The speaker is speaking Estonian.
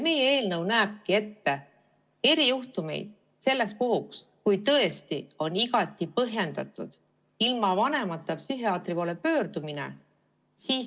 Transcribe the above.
Meie eelnõu näebki ette erijuhtumi selleks puhuks, kui tõesti on igati põhjendatud ilma vanemata psühhiaatri poole pöördumine.